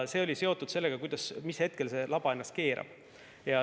See on seotud sellega, mis hetkel see laba ennast keerab.